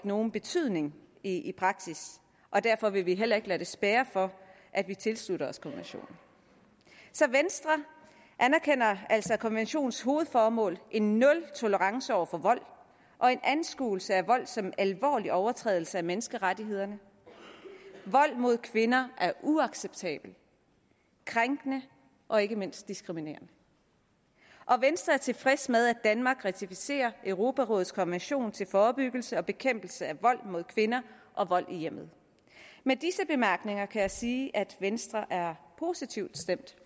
nogen betydning i praksis og derfor vil vi heller ikke lade det spærre for at vi tilslutter os konventionen så venstre anerkender altså konventionens hovedformål en nultolerance over for vold og en anskuelse af vold som en alvorlig overtrædelse af menneskerettighederne vold mod kvinder er uacceptabel krænkende og ikke mindst diskriminerende og venstre er tilfreds med at danmark ratificerer europarådets konvention til forebyggelse og bekæmpelse af vold mod kvinder og vold i hjemmet med disse bemærkninger kan jeg sige at venstre er positivt stemt